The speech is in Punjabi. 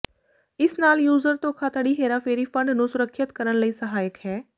ਇਸ ਨਾਲ ਯੂਜ਼ਰ ਧੋਖਾਧੜੀ ਹੇਰਾਫੇਰੀ ਫੰਡ ਨੂੰ ਸੁਰੱਖਿਅਤ ਕਰਨ ਲਈ ਸਹਾਇਕ ਹੈ